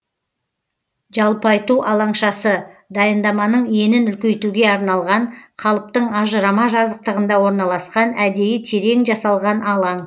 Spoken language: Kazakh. жалпайту алаңшасы дайындаманың енін үлкейтуге арналған қалыптың ажырама жазықтығында орналасқан әдейі терең жасалған алаң